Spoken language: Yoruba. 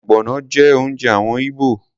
Ogbono jẹ́ oúnjẹ àwọn Igbo.